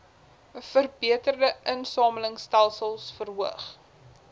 verbeterde insamelingstelsels verhoog